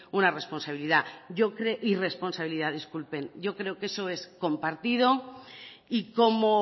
una irresponsabilidad yo creo que eso es compartido y como